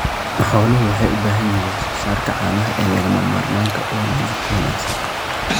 Xooluhu waxay bixiyaan wax-soo-saarka caanaha ee lagama maarmaanka u ah nafaqo wanaagsan.